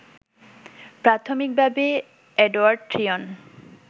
প্রাথমিকভাবে এডোয়ার্ড ট্রিয়ন